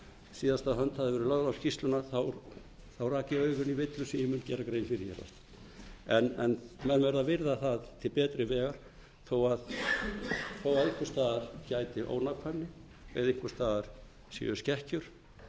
síðasta hönd hafði verið lögð á skýrsluna rak ég augun í villu sem ég mun gera grein fyrir en menn verða að virða það til betri vegar þó einhvers staðar gæti ónákvæmni eða einhvers staðar séu skekkjur